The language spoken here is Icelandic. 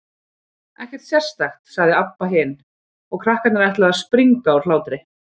Ekkert sérstakt, sagði Abba hin, og krakkarnir ætluðu að springa úr hlátri.